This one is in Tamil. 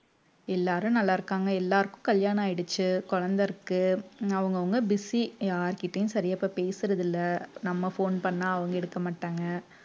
எல்லாரும் நல்லா இருக்காங்க எல்லாருக்கும் கல்யாணம் ஆயிடுச்சு குழந்தை இருக்கு அவங்கவங்க busy யார்கிட்டயும் சரியா இப்ப பேசுறதில்லை நம்ம phone பண்ணா அவங்க எடுக்க மாட்டாங்க